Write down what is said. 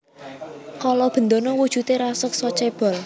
Kala Bendana wujudé raseksa cébol